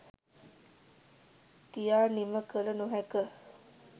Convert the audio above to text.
කියා නිම කළ නොහැක.